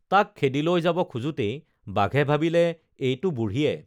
তাক খেদি লৈ যাব খোজোতেই বাঘে ভাবিলে এইটো বুঢ়ীয়ে